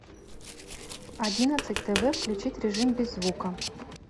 в одиннадцать тв включить режим без звука